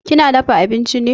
Kina dafa abinchi ne?